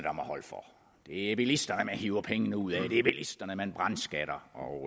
det er bilisterne man hiver pengene ud af at det er bilisterne man brandskatter og